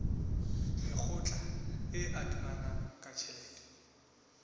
mekgatlo e adimanang ka tjhelete